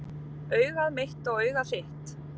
Augað mitt og augað þitt,